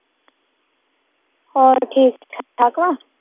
ਓਰ ਠੀਕ ਠਾਕ ਠਾਕ